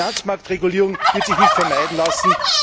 Finanzmarktregulierung wird sich nicht vermeiden lassen.